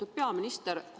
Lugupeetud peaminister!